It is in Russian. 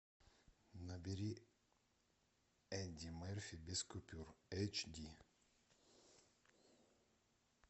набери эдди мерфи без купюр эйч ди